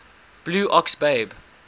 blue ox babe